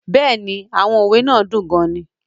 Yes, the proverbs are very interesting